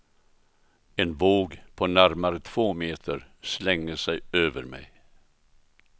En våg på närmare två meter slänger sig över mig.